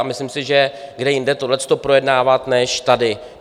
A myslím si, že kde jinde tohleto projednávat než tady.